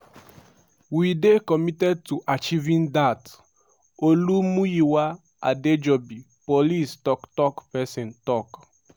we dey committed to achieving dat’’ olumuyiwa adejobi police tok-tok pesin tok.